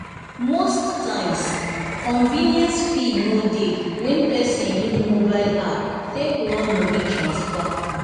most times convenience fee no dey when person use mobile app take run money transfer.